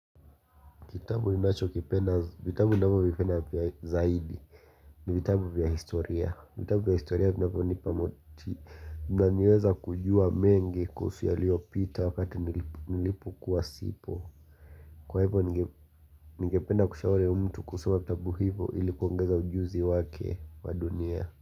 Kitabu ninacho kipenda, vitabu ninavyo vipenda vya zaidi. Ni vitabu vya historia. Vitabu vya historia vinavyonipa moti. Inaaniweza kujua mengi kuhusu yaliyopita wakati nilipokuwa sipo. Kwa hivyo ningependa kushauri mtu kusoma vitabu hivyo ili kuongeza ujuzi wake wa dunia.